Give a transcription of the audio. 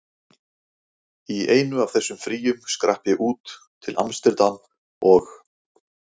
Í einu af þessum fríum skrapp ég út, til amsterdam og